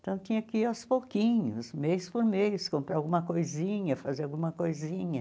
Então tinha que ir aos pouquinhos, mês por mês, comprar alguma coisinha, fazer alguma coisinha.